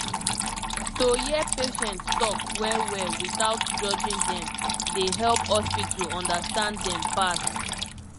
to hear patient talk well well without judging dem dey help hospital understand dem pass